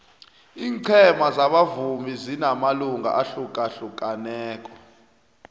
ingcema zabavumi zinamalunga ahlukahlukaneko